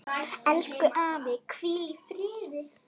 Elsku afi, hvíl í friði.